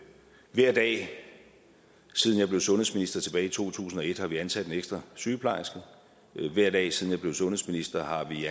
hver dag siden jeg blev sundhedsminister tilbage i to tusind og et har vi ansat en ekstra sygeplejerske og hver dag siden jeg blev sundhedsminister har vi